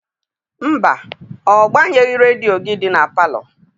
Mba, ọ gbanyeghị redio gị dị na palọ.